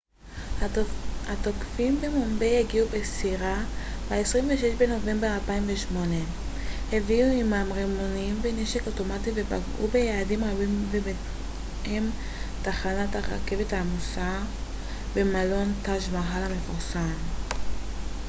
התוקפים במומביי הגיעו בסירה ב-26 בנובמבר 2008 הביאו עימם רימונים ונשק אוטומטי ופגעו ביעדים רבים ובהם תחנת הרכבת העמוסה צ'טראפטי שיוואג'י ומלון טאג' מאהל המפורסם